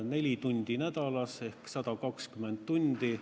Neli tundi nädalas, kokku sai 120 tundi.